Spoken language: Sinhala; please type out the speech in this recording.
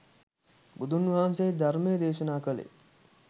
බුදුන් වහන්සේ ධර්මය දේශනා කළේ